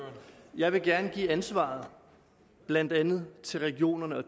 jeg vil gerne give ansvaret blandt andet til regionerne